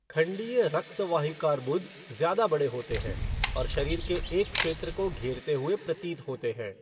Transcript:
खंडीय रक्तवाहिकार्बुद ज़्यादा बड़े होते हैं, और शरीर के एक क्षेत्र को घेरते हुए प्रतीत होते हैं।